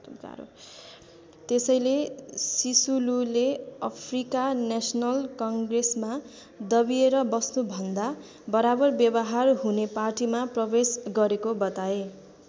त्यसैले सिसुलुले Africa national कङ्ग्रेसमा दबिएर बस्नु भन्दा बराबर व्यवहार हुने पार्टीमा प्रवेश गरेको बताए।